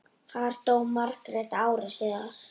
Þar dó Margrét ári síðar.